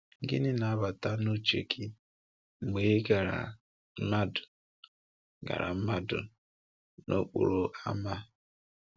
Gịnị na-abata n’uche gị mgbe i gara mmadụ gara mmadụ n’okporo ámá?